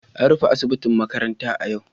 An rufe asibitin makarantar a yau